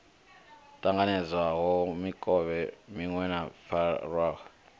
ṱanganedzwaho mikovhe miṅwe yo farwaho